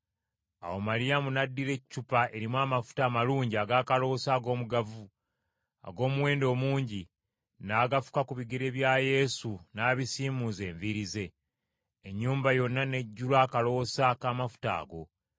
Awo Maliyamu n’addira eccupa erimu amafuta amalungi ag’akaloosa ag’omugavu, ag’omuwendo omungi, n’agafuka ku bigere bya Yesu n’abisiimuuza enviiri ze. Ennyumba yonna n’ejjula akaloosa k’amafuta ago.